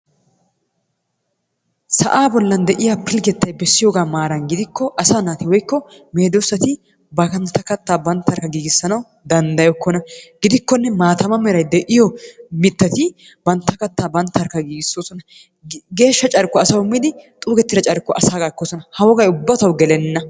Sa'aa bollan de'iyaa pilggettay bessiyoogaa maaran gidikko asaa naati woykko meedoosati bantta kattaa banttarkka giigisanawu dandayokkona. Gidikkonne maataama meray de'iyo mittati bantta kattaa bantarkka giigisoosona. Geeshsha carkkuwa asaw immidi xuugeetida carkkuwaa asaagaa ekkoosonna. Ha wogay ubba tawu gelenna.